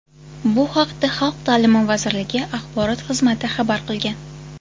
Bu haqda Xalq ta’limi vazirligi axborot xizmati xabar qilgan .